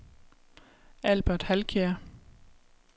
Albert Halkjær